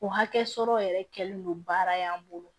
O hakɛ sɔrɔ yɛrɛ kɛlen don baara in bolo